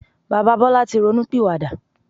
Bàbá Bọlá tí ronú pìwà dà.